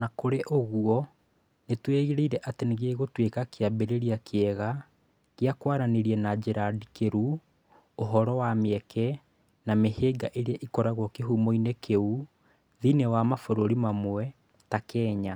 O na kũrĩ ũguo, nĩ twĩrĩgĩrĩire atĩ nĩ gĩgũtuĩka kĩambĩrĩria kĩega kĩa kwarĩrĩria na njĩra ndikĩru ũhoro wa mĩeke na mĩhĩnga ĩrĩa ĩkoragwo kīhumo-inĩ kĩu, thĩinĩ wa mabũrũri mamwe, ta Kenya.